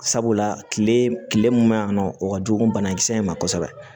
Sabula kile kile mun ma yan nɔ o ka jugu banakisɛ in ma kosɛbɛ